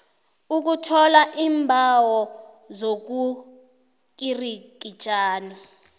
ukuthola iimbawo zobukirikitjani